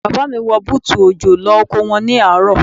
Bàbá mi wọ bútù òjò lọ oko wọn ní àárọ̀.